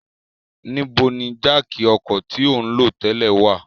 Nibo ni jáákí ọkọ ti o nlo tẹlẹ wa?